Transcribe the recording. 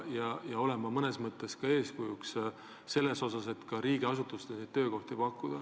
Riigiasutused peaksid olema eeskujuks, pakkudes neile töökohti.